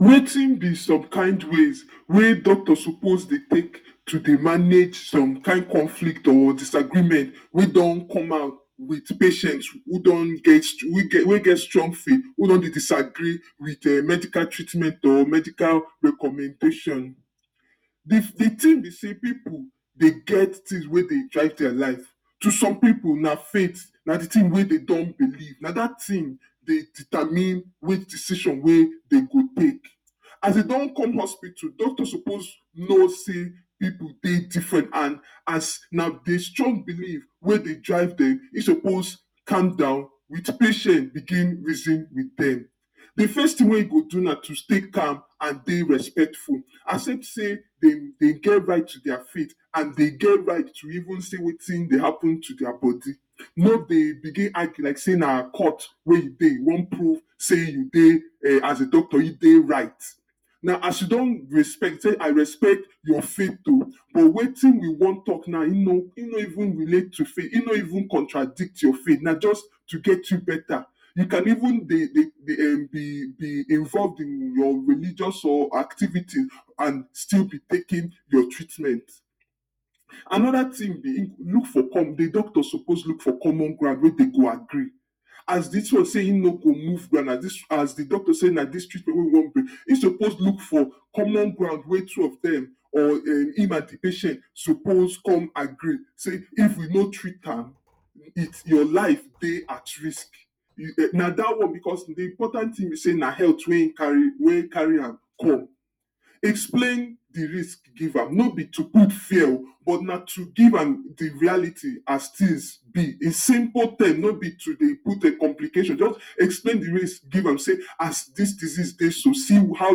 wetin be some kind ways wey doctors supposed dey take to dey dey manage some kin conflict or disagreement wey don come out wit patient who don get, wey geh stong wey don disagree wit um medical treatment or medical recommendation Di di thin be say pipo dey get tins wey dey drive dia lives to some pipo na fait na di tin wey dem don believe na dat tin dey determine which decision wey dem go take as dem don come hospital doctors supposed know say pipo dey different and as na di strong belief wey dey drive dem im suppose calm down wit patien begin reason wit dem Di first tin wey im go do na to stay calm and dey respectful as if say dem get right to dia faith and dem get right to even say wetin dey happun to dia body no dey begin argue like say na court wey you dey you wan prove say you dey as a doctor say you dey right na as you don respect say i respect your faith o but wetin you wan tok na im no even relate to faith im no contradict your faith na just to get you better you can even dey um involve di your religious or activities and still be taking your treatment. anoda tin be, look for di doctor supposed look for common ground wey dem go agree as dis one say im no go move ground, as di doctor say na dis treatment wey we wan bring im supposed look for common ground wey two of dem or um im and di patient supposed come agree sey if we no treat am your life dey at risk na dat one bicos, di important tin be say na health wey carry am come explain di rsik give am no bi to put fear o but na to give am di reality as tins be a simple tin no bi to dey put complications just explain di risk give am say as dis disease dey so, see how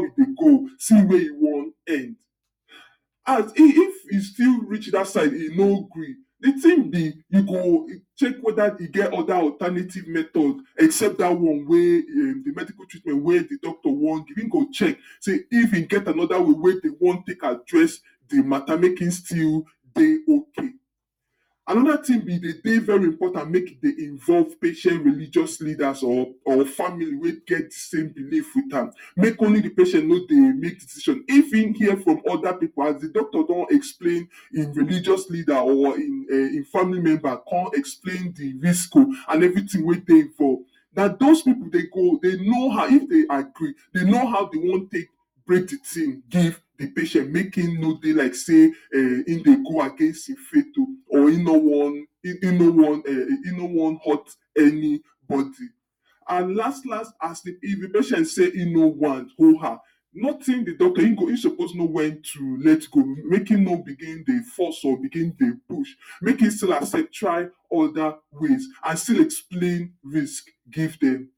we go go o, see wia e wan end and if e still reach dat side e no gree di tin be e go check weda e get oda alternative method except dat one wey um di medical treatment wey di doctor wan do im go check say if im get anoda way wey dem wan take address di mata make im still dey ok. Anoda tin be dey very important make dey involve patient religious leader or family wey get same belief wit am make only di patient no dey make decision if im hear from oda pipo as di doctor don explain im religious leader or im um family member come explain di risk o and evritin wey dey involve dat those pipo dey go dem know how, if dem agree dem know dem wan take break di tin give di patient make im no dey like say um im dey go against im faith o or im no wan um im no want hurt any body And las las as di if di patient say im no want oh ha notin, di doctor im supposed know wen to let go make im no begin dey force or begin dey push make im still accept try oda ways and still explain risk give dem